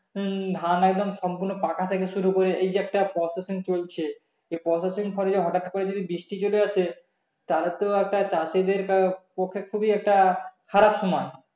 হম ধান একদম সম্পূর্ণ পাকা থেকে শুরু করে এই যে একটা processing চলছে এই processing এর পরে হটাৎ করে যদি বৃষ্টি চলে আসে তাহলে একটা চাষীদের পক্ষে খুবই একটা খারাপ সময়